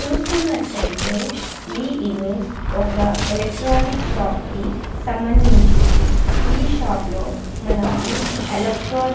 చూస్తున్నటైతే ఈ ఇమేజ్ ఒక ఎలక్ట్రానిక్ షాప్ కి సంబంధించింది ఈ షాప్ లో మనకు ఎలక్ట్రానిక్ --